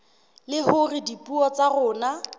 le hore dipuo tsa rona